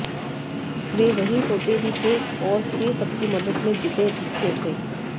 वे वहीं सोते भी थे और फिर सबकी मदद में जुटे दिखते थे